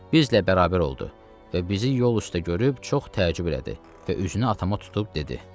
Bizlə bərabər oldu və bizi yol üstə görüb çox təəccüb elədi və üzünü atama tutub dedi: